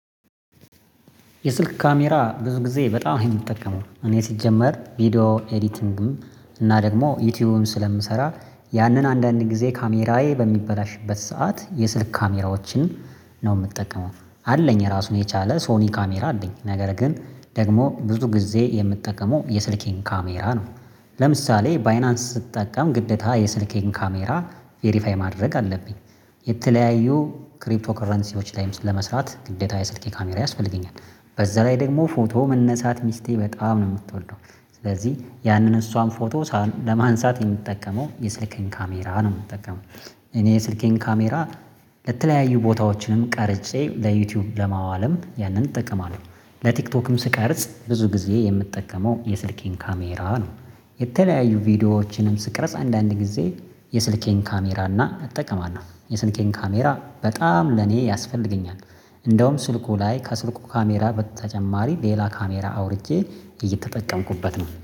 የስልክ ካሜራ ብዙ ጊዜ በጣም የምጠቀመው እኔ ስጀምር ቪዲዮ ኤዲቲንግም እና ደግሞ ዩቲዩብም ስለምሰራ ያንን አንዳንድ ጊዜ ካሜራዬ በሚበላሽበት ሰዓት የስልክ ካሜራዎችንም ነው የምጠቀመው አለኝ ራሱን የቻለ ሶኒ ካሜራ አለኝ ነገር ግን ደግሞ ብዙ ጊዜ የምትጠቀመው የስልኬን ካሜራ ነው ለምሳሌ ባይናንስ ስትጠቀም ግዴታ የስልኬን ካሜራ ቬሪፋይ ማድረግ አለብኝ። የተለያዩ ክሪፕቶ ከረንሲቮች ላይም ለመስራት ግዴታ የስልኬ ካሜራ ያስፈልገኛል። በዛ ላይ ደግሞ ፎቶ መነሳት ሚስቴ በጣም ነው የምትወደው ስለዚህ ያንን እሷን ፎቶ ለማንሳት የምጠቀመው የስልኬን ካሜራ ነው የምጠቀመው። እኔ የስልኬን ካሜራ ለተለያዩ ቦታዎችንም ቀርጬ ለዩቲዩብ ለማዋልም ያንን እጠቀማለሁ። ለቲክቶክም ስቀርጽ ብዙ ጊዜ የምጠቀመው የስልኬን ካሜራ ነው። የተለያዩ ቪዲዮዎችንም ስቀሮጽ አንዳንድ ጊዜ የስልኬን ካሜራ እና እጠቀማለሁ የስልኬን ካሜራ በጣም ለኔ ያስፈልገኛል። እንደውም ስልኩ ላይ ከስልኩ ካሜራ በተጨማሪ ሌላ ካሜራ አውርጄ እየተጠቀምኩበት ነው